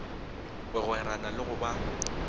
go gwerana le go ba